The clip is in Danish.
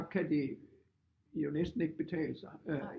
Kan det jo næsten ikke betale sig øh